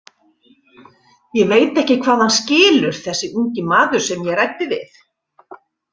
Ég veit ekki hvað hann skilur, þessi ungi maður sem ég ræddi við.